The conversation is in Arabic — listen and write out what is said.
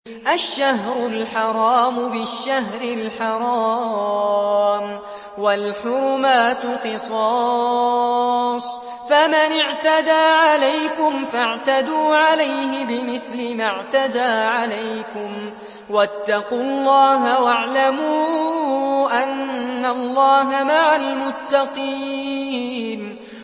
الشَّهْرُ الْحَرَامُ بِالشَّهْرِ الْحَرَامِ وَالْحُرُمَاتُ قِصَاصٌ ۚ فَمَنِ اعْتَدَىٰ عَلَيْكُمْ فَاعْتَدُوا عَلَيْهِ بِمِثْلِ مَا اعْتَدَىٰ عَلَيْكُمْ ۚ وَاتَّقُوا اللَّهَ وَاعْلَمُوا أَنَّ اللَّهَ مَعَ الْمُتَّقِينَ